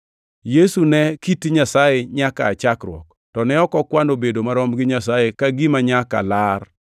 Yesu ne kit Nyasaye nyaka aa chakruok, to ne ok okwano bedo marom gi Nyasaye ka gima nyaka lar,